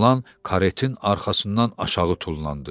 Oğlan karetin arxasından aşağı tullandı.